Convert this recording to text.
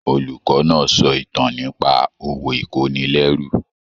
Olùkọ náà sọ ìtàn nípa òwò ikonilérú.